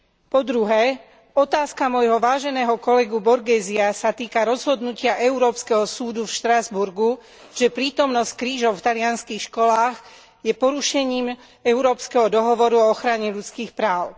Po druhé, otázka môjho váženého kolegu Borghezia sa týka rozhodnutia európskeho súdu v Štrasburgu, že prítomnosť krížov v talianskych školách je porušením Európskeho dohovoru o ochrane ľudských práv.